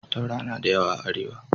Taura na da yawa a Arewa.